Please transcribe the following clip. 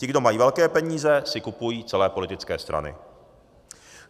Ti, kdo mají velké peníze, si kupují celé politické strany.